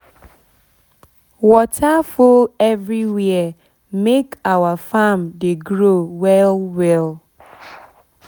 water full everywhere make our farm dey grow well well